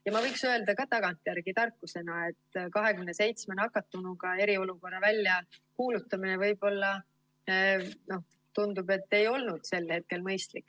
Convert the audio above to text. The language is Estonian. Ja ma võiks öelda ka tagantjärele tarkusena, et 27 nakatunu puhul eriolukorra väljakuulutamine võib-olla ei olnud sel hetkel mõistlik.